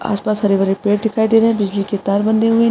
आसपास हरे भरे पेड़ दिखाई दे रहे है बिजली कि तार बंधे हुए --